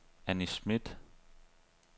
Anni Schmidt